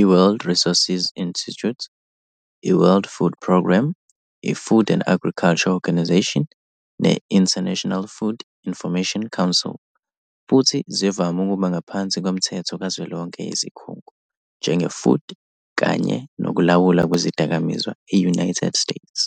i-World Resources Institute, i-World Food Program, i-Food and Agriculture Organisation, ne-International Food Information Council, futhi zivame ukuba ngaphansi komthetho kazwelonke yizikhungo, njenge-Food kanye Nokulawulwa Kwezidakamizwa e-United States.